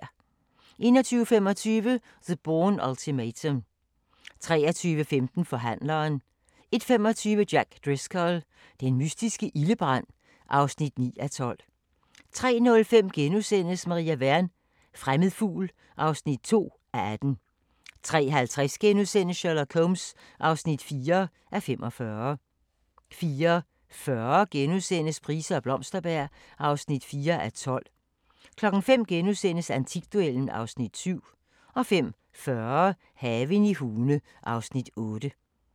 21:25: The Bourne Ultimatum 23:15: Forhandleren 01:25: Jack Driscoll – den mystiske ildebrand (9:12) 03:05: Maria Wern: Fremmed fugl (2:18)* 03:50: Sherlock Holmes (4:45)* 04:40: Price og Blomsterberg (4:12)* 05:00: Antikduellen (Afs. 7)* 05:40: Haven i Hune (Afs. 8)